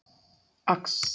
Axará